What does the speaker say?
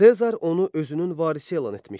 Sezar onu özünün varisi elan etmişdi.